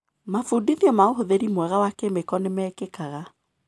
Mabundithio ma ũhũthĩri mwega wa kĩmĩko nĩmekĩkaga.